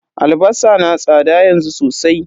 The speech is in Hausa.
Albasa na tsada yanzu sosai.